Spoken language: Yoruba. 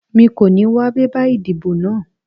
Mi kò ní wá bébà ìdìbò náà